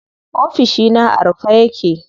Ofishina a rufe yake.